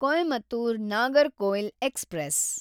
Coimbatore Nagercoil express